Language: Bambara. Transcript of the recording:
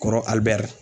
Kɔrɔ ali bɛri